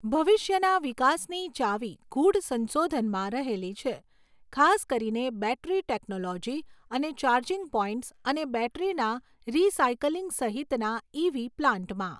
ભવિષ્યના વિકાસની ચાવી ગૂઢ સંશોધનમાં રહેલી છે, ખાસ કરીને બૅટરી ટેકનોલોજી અને ચાર્જિંગ પૉઇન્ટ્સ અને બૅટરીના રીસાઇકલિંગ સહિતના ઇ.વી. પ્લાન્ટમાં.